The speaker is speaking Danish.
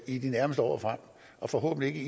i de nærmeste år og forhåbentlig ikke